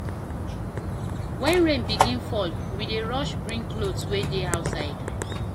Wen rain begin fall, we dey rush bring clothes wey dey outside.